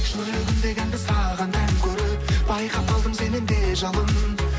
жүрегімдегі әнді саған ән көріп байқап қалдым сеннен де жалын